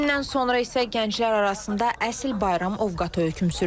Himdən sonra isə gənclər arasında əsl bayram ovqatı hökm sürür.